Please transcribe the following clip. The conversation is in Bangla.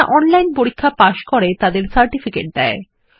যারা অনলাইন পরীক্ষা পাস করে তাদের সার্টিফিকেট দেয়